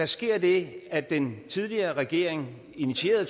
sker det at den tidligere regering initieret af